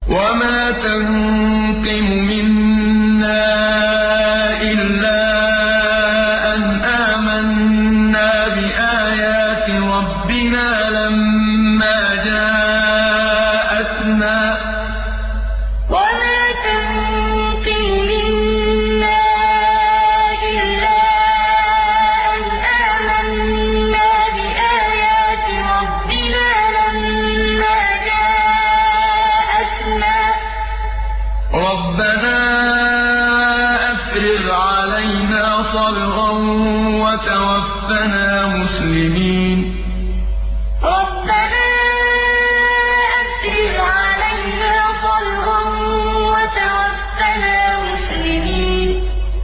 وَمَا تَنقِمُ مِنَّا إِلَّا أَنْ آمَنَّا بِآيَاتِ رَبِّنَا لَمَّا جَاءَتْنَا ۚ رَبَّنَا أَفْرِغْ عَلَيْنَا صَبْرًا وَتَوَفَّنَا مُسْلِمِينَ وَمَا تَنقِمُ مِنَّا إِلَّا أَنْ آمَنَّا بِآيَاتِ رَبِّنَا لَمَّا جَاءَتْنَا ۚ رَبَّنَا أَفْرِغْ عَلَيْنَا صَبْرًا وَتَوَفَّنَا مُسْلِمِينَ